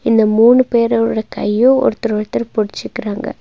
இந்த மூணு பேரோட கையும் ஒருத்தர் ஒருத்தர் புடிச்சிக்குறாங்க.